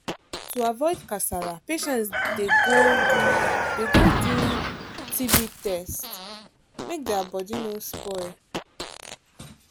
to avoid kasala patients dey go do dey go do tb test make their body no spoil.